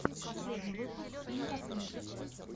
последний выпуск имкосметик